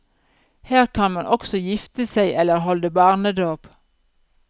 Her kan man også gifte seg eller holde barnedåp.